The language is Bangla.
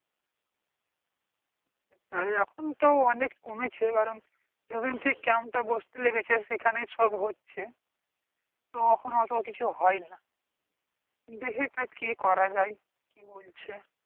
তাই এখুন তো অনেক কমেছে যবে থেকে camp তা বসতে লেগেছে সেই খানেই সব হচ্ছে তো এখুন অতো কিছু হয়না দেখি তো কি করা যায়কি বলছে